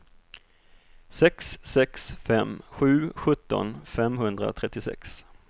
sex sex fem sju sjutton femhundratrettiosex